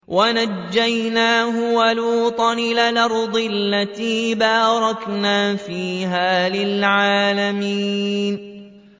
وَنَجَّيْنَاهُ وَلُوطًا إِلَى الْأَرْضِ الَّتِي بَارَكْنَا فِيهَا لِلْعَالَمِينَ